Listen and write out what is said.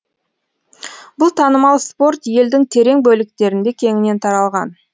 бұл танымал спорт елдің терең бөліктерінде кеңінен таралған